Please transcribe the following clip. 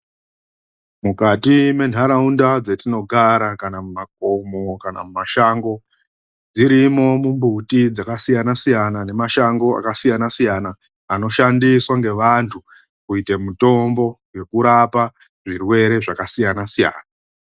MUKATI MENHARAUNDA DZATINOGARA KANA MUMAKOMO KANA MUMASHANGO DZIRIMO MUMBUTI, DZAKA SIYANA - SIYANA NE MASHANGO AKASIYANA SIYANA ANOSHANDISWA NE VANTU KUITA MUTOMBO YEKURAPA ZVIRWERE ZVAKASIYANA - SIYANA.